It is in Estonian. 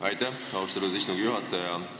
Aitäh, austatud istungi juhataja!